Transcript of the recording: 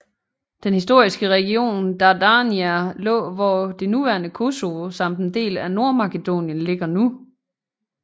Den historiske region Dardania lå hvor det nuværende Kosovo samt en del af Nordmakedonien ligger nu